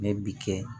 Ne bi kɛ